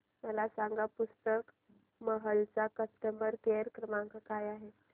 मला सांगा पुस्तक महल चा कस्टमर केअर क्रमांक काय आहे